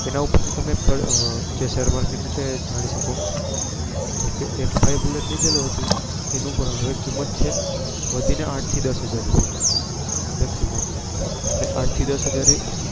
તેના ઉપર થી તમે share market નું તમે જાની શકીએ. એક ભાઈ ય તે ની હાલ કિંમત છે આંઠ થી દસ હાજર રૂપિય maximum એટેલે આંઠ થી દસ હાજર